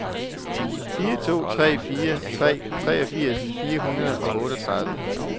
fire to fire tre treogfirs fire hundrede og otteogtredive